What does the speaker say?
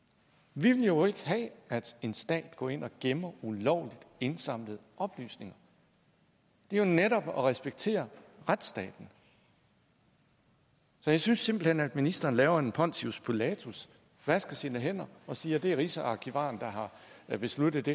vi vil jo ikke have at en stat går ind og gemmer ulovligt indsamlede oplysninger det er jo netop at respektere retsstaten så jeg synes simpelt hen at ministeren laver en pontius pilatus vasker sine hænder og siger at det er rigsarkivaren der har besluttet det